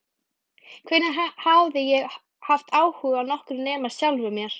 Hvenær hafði ég haft áhuga á nokkrum nema sjálfum mér?